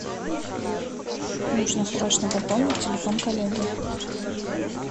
нужно срочно пополнить телефон коллеги